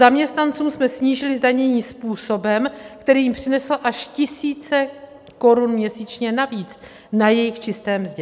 Zaměstnancům jsme snížili zdanění způsobem, který jim přinesl až tisíce korun měsíčně navíc na jejich čisté mzdě.